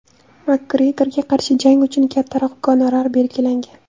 Makgregorga qarshi jang uchun kattaroq gonorar belgilangan.